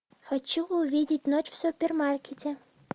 хочу увидеть ночь в супермаркете